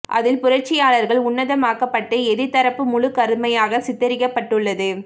அதில் புரட்சியாளர்கள் உன்னதமாக்கப் பட்டு எதிர்த் தரப்பு முழுக் கருமையாகச் சித்தரிக்கப் பட்டுள்ளது